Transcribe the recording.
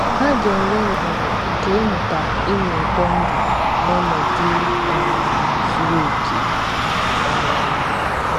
Ha ga - enwe ohere nke ịmụta ịnụ ụtọ ndụ n’ọnọdụ um zuru oké. um